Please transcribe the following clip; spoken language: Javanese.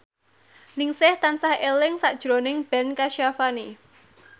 Ningsih tansah eling sakjroning Ben Kasyafani